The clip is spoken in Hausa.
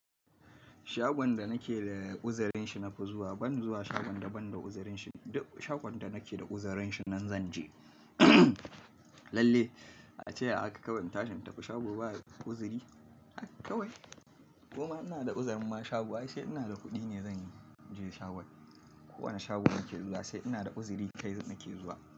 Shagon da nake da uzirin shi nafi zuwa, ban zuwa shagon da ban da uzirin shi. Duk shagon da nake da uzirin shi nan zan je. Lalle, a ce haka kawai in tashi in tafi shago ba uziri, haka kawai. Koma ina da uzirin ma shago ai sai ina da kuɗi ne zan je shagon. Ko wane shago nake zuwa sai ina da uziri kai nake zuwa.